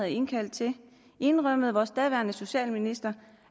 indkaldt til indrømmede vores daværende socialminister